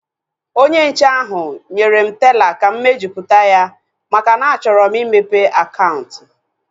Onye nche ahu nyere m teela ka m mejupụta ya maka na a chọrọ m imepe akaụntụ